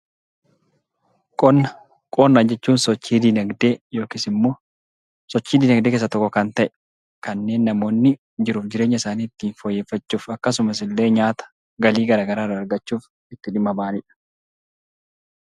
Qonna jechuun sochii dinagdee yookiis immoo sochii dinagdee keessaa tokko kan ta'e, kanneen namoonni jiruuf jireenya isaanii ittiin fooyyeffachuuf akkasumas illee nyaata, galii gara garaa irraa argachuuf itti dhimma bahanidha.